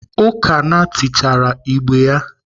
Ukanna tichaara igbe ya.